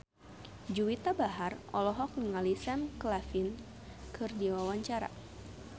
Juwita Bahar olohok ningali Sam Claflin keur diwawancara